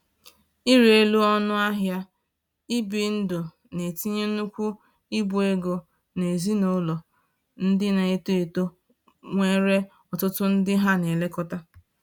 Ịrị elu ọnụ ahịa ibi ndụ na-etinye nnukwu ibu ego n’ezinụlọ ndị na-eto eto nwere ọtụtụ ndị ha na-elekọta